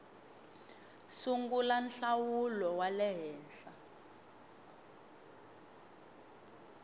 sungula nhlawulo wa le henhla